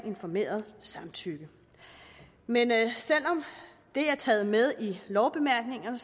informeret samtykke men selv om det er taget med i lovbemærkningerne